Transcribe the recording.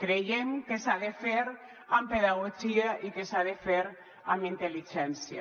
creiem que s’ha de fer amb pedagogia i que s’ha de fer amb intel·ligència